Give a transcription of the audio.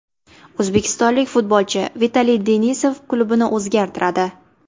O‘zbekistonlik futbolchi Vitaliy Denisov klubini o‘zgartiradi.